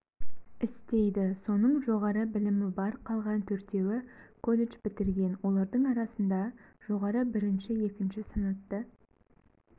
істейді соның жоғары білімі бар қалған төртеуі колледж бітірген олардың арасында жоғары бірінші екінші санатты